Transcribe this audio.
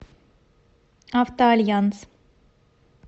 авто альянс